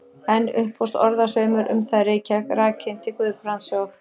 Enn upphófst orðasveimur um það í Reykjavík, rakinn til Guðbrands og